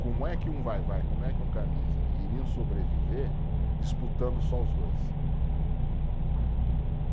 Como é que um Vai-Vai, como é que um Camisa iriam sobreviver disputando só os dois?